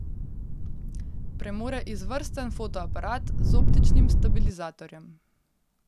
Premore izvrsten fotoaparat, z optičnim stabilizatorjem.